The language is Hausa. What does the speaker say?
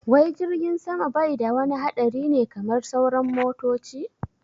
Wai jirgin sama bai da wani haɗari ne kaman sauran motoci?